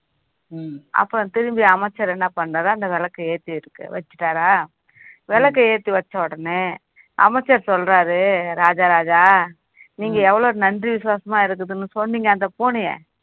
அப்போ திரும்பி அமைச்சர் என்ன பண்றாரு அந்த விளக்க ஏத்தி வச்சிட்டாரா விளக்க ஏத்தி வச்ச உடனே அமைச்சர் சொல்றாரு ராஜா ராஜா நீங்க எவ்வளோ நன்றி விசுவாசமா இருக்குதுன்னு சொன்னீங்க அந்த பூனைய